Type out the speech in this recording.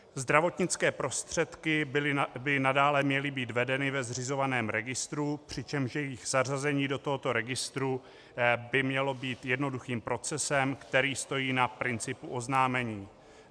Zdravotnické prostředky by nadále měly být vedeny ve zřizovaném registru, přičemž jejich zařazení do tohoto registru by mělo být jednoduchým procesem, který stojí na principu oznámení.